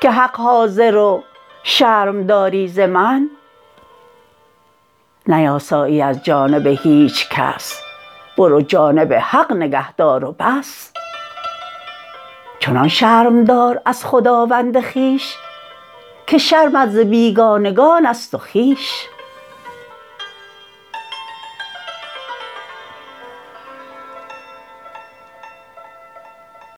که حق حاضر و شرم داری ز من نیاسایی از جانب هیچ کس برو جانب حق نگه دار و بس چنان شرم دار از خداوند خویش که شرمت ز بیگانگان است و خویش